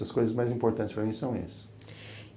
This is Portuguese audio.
As coisas mais importantes para mim são isso.